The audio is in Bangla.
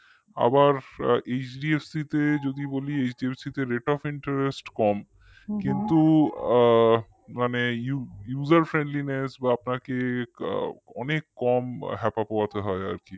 আবার HDFC তে যদি বলি HDFC তে rate of interest কম কিন্তু আ মানে user friendliness বা আপনাকে অনেক কম হেপা পোহাতে হয় আর কি